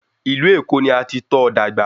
Ìlú Èkó ni a ti tọ́ ọ dàgbà